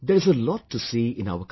There is a lot to see in our country